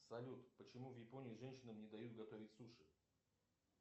салют почему в японии женщинам не дают готовить суши